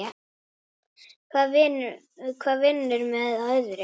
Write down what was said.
Hvað vinnur með öðru.